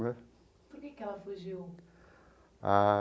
Por que que ela fugiu? Ah.